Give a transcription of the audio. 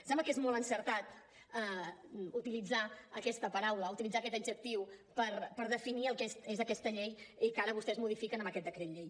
sembla que és molt encertat utilitzar aquesta paraula utilitzar aquest adjectiu per definir el que és aquesta llei i que ara vostès modifiquen amb aquest decret llei